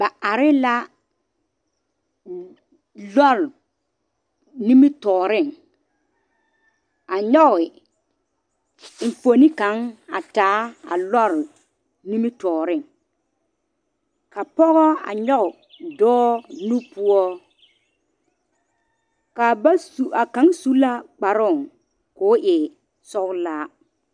Ba are la lɔre nimitɔɔre a nyɔge enfuoni kaŋ a taa a lɔre nimitɔɔre ka pɔgɔ a nyɔge dɔɔ nu poɔ kaa ba su a kaŋ su la kparoo ko e sɔgelaa